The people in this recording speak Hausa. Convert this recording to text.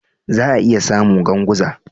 Za'a iya samu Ganguza.